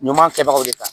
Ɲuman kɛbagaw de kan